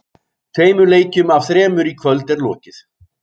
Tveimur leikjum af þremur í kvöld er lokið.